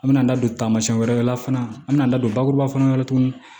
An mɛna an da don taamasiyɛn wɛrɛ la fana an mi na da don bakuruba fana la tuguni